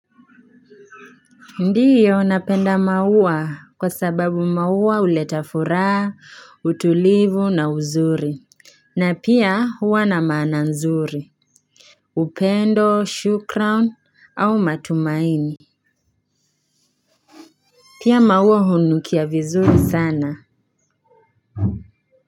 Ndio napenda maua kwa sababu maua huleta furaha, utulivu na uzuri. Na pia huwa na maana nzuri upendo shukrani au matumaini. Pia maua hunukia vizuri sana.